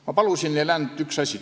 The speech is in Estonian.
Ma palusin teha neil ainult üht asja.